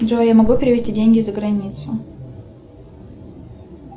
джой я могу перевести деньги за границу